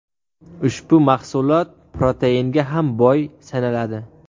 Ushbu mahsulot proteinga ham boy sanaladi.